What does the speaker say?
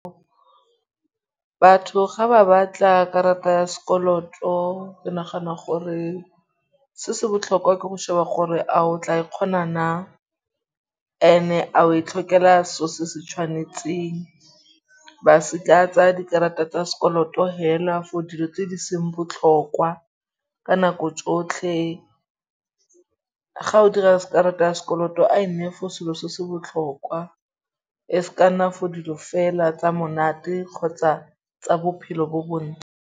Batho ga ba batla karata ya sekoloto, ke nagana gore se se botlhokwa ke go sheba gore a o tla e kgona na. Ene a o e tlhokela seo se se tshwanetseng. Ba se ka tsaa dikarata tsa sekoloto hela for dilo tse di seng botlhokwa ka nako tsotlhe. Ga o dira karata ya sekoloto a e nne for selo se se botlhokwa. E se ka nna for dilo fela tsa monate kgotsa tsa bophelo bo bo